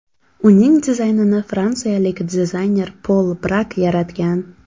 Uning dizaynini fransiyalik dizayner Pol Brak yaratgan.